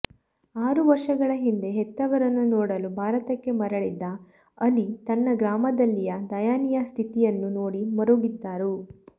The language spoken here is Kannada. ಆರು ವರ್ಷಗಳ ಹಿಂದೆ ಹೆತ್ತವರನ್ನು ನೋಡಲು ಭಾರತಕ್ಕೆ ಮರಳಿದ್ದ ಅಲಿ ತನ್ನ ಗ್ರಾಮದಲ್ಲಿಯ ದಯನೀಯ ಸ್ಥಿತಿಯನ್ನು ನೋಡಿ ಮರುಗಿದ್ದರು